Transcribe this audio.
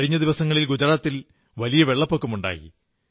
കഴിഞ്ഞ ദിവസങ്ങളിൽ ഗുജറാത്തിൽ വലിയ വെള്ളപ്പൊക്കമുണ്ടായി